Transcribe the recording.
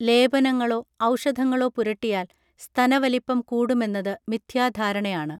ലേപനങ്ങളൊ ഔഷധങ്ങളൊ പുരട്ടിയാൽ സ്തനവലിപ്പം കൂടുമെന്നത് മിഥ്യാധാരണയാണ്